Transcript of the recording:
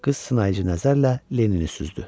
Qız sınayıcı nəzərlə Lennini süzdü.